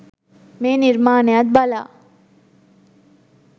මේ නිර්මාණයත් බලා